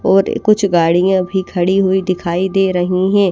और कुछ गाड़ियां भी खड़ी हुई दिखाई दे रही है।